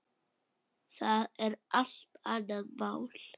Það er allt annað mál.